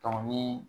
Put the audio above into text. ni